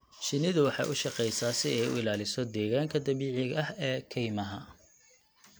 Shinnidu waxay u shaqeysaa si ay u ilaaliso deegaanka dabiiciga ah ee kaymaha.